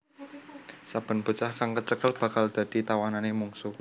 Saben bocah kang kecekel bakal dadi tawanané mungsuh